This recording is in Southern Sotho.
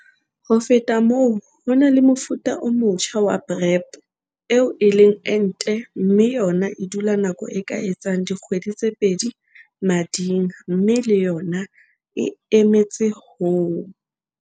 Ho feta moo, ho na le mofuta o motjha wa PrEP - eo e leng ente mme yona e dula nako e ka etsang dikgwedi tse pedi mading mme le yona e emetse ho